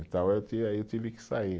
Então eu tive, aí eu tive que sair.